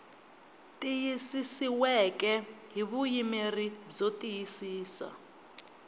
tiyisisiweke hi vuyimeri byo tiyisisa